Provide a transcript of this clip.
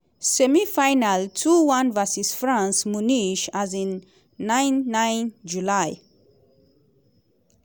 semi-final 2-1 vs france (munich um 9 9 july)